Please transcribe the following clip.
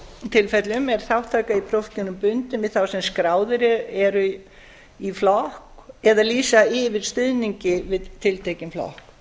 tilfellum er þátttaka í prófkjörum bundin við þá sem skráðir eru í flokk eða lýsa yfir stuðningi við tiltekinn flokk